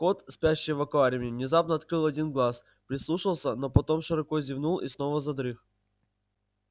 кот спящий в аквариуме внезапно открыл один глаз прислушался но потом широко зевнул и снова задрых